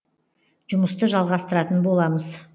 жұмысты жалғастыратын боламыз